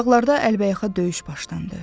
Dağlarda əlbəyaxa döyüş başlandı.